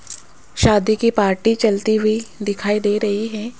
शादी की पार्टी चलती हुई दिखाई दे रही है।